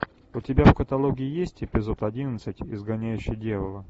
у тебя в каталоге есть эпизод одиннадцать изгоняющий дьявола